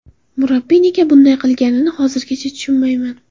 Murabbiy nega bunday qilganini hozirgacha tushunmayman.